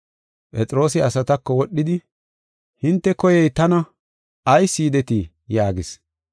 Phexroosi asatako wodhidi, “Hinte koyey tana; ayis yidetii?” yaagis.